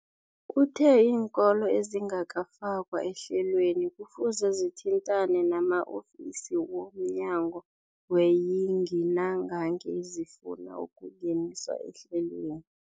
Uthe iinkolo ezingakafakwa ehlelweneli kufuze zithintane nama-ofisi wo mnyango weeyingi nangange zifuna ukungeniswa ehlelweni.